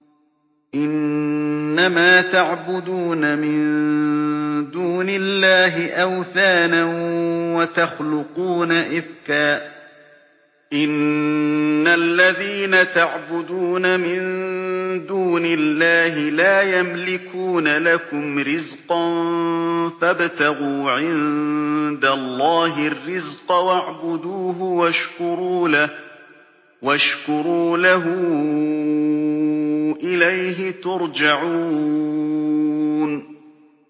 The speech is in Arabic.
إِنَّمَا تَعْبُدُونَ مِن دُونِ اللَّهِ أَوْثَانًا وَتَخْلُقُونَ إِفْكًا ۚ إِنَّ الَّذِينَ تَعْبُدُونَ مِن دُونِ اللَّهِ لَا يَمْلِكُونَ لَكُمْ رِزْقًا فَابْتَغُوا عِندَ اللَّهِ الرِّزْقَ وَاعْبُدُوهُ وَاشْكُرُوا لَهُ ۖ إِلَيْهِ تُرْجَعُونَ